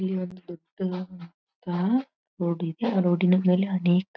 ಇಲ್ಲಿ ಒಂದು ದೊಡ್ಡದಾದಂತಹ ರೋಡ್ ಇದೆ ಆ ರೋಡಿನ ಮೇಲೆ ಅನೇಕ--.